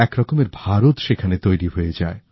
একরকমের ভারত সেখানে তৈরি হয়ে যায়